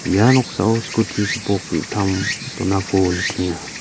ia noksao skuti gipok ge·gittam donako nikenga.